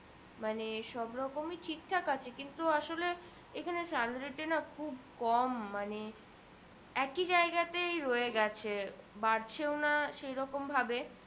মানে সব রকমি ঠিক ঠাক আছে কিন্তু আসলে এখানে salary টা না খুব কম মানে একি জায়গাতে রয়ে গেছে বাড়ছেও না সে রকম ভাবে